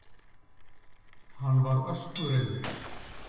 Hann var öskureiður.